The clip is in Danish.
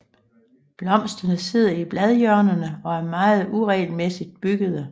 Blomsterne sidder i bladhjørnerne og er meget uregelmæssigt byggede